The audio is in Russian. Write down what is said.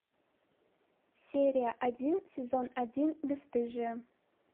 серия один сезон один бесстыжие